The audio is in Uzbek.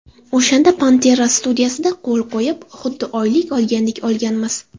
O‘shanda ‘Panterra’ studiyasida qo‘l qo‘yib, xuddi oylik olgandek olganmiz.